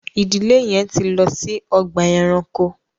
ìdílé yén tí lọ si Ọgbà ẹranko